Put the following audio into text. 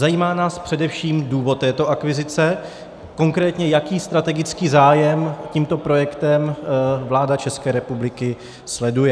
Zajímá nás především důvod této akvizice, konkrétně jaký strategický zájem tímto projektem vláda České republiky sleduje.